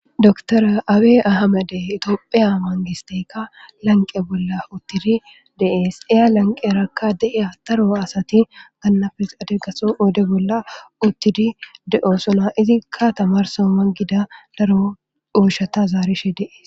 doktora awe ahamade itoophiya mangistekka lanqe bolla uttidi dee'es iya lanqerakka deeya daro asati gannafes adeggaso wode bolla uttidi de'osona izikka tamarsa mangida daro ooshata zaarishe dee'es